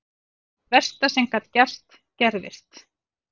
Það versta sem gat gerst gerðist.